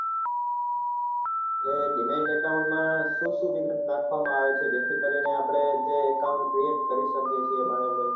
તે dimet account માં શું શું વિગત નાખવા માં આવે છે જે થી કરી ને આપડે જે account create કરી શકીએ છીએ ભાવિનભાઈ